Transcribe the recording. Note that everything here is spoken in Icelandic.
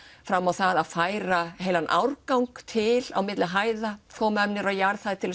fram á það að færa heilan árgang til á milli hæða koma þeim niður á jarðhæð til